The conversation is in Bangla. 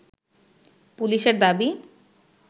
পুলিশের দাবি